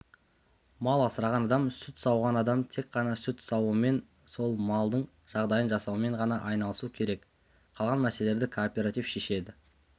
мал асыраған адам сүт сауған адам тек қана сүт сауумен сол малдың жағдайын жасаумен ғана айналысу керек қалған мәселелерді кооператив шешеді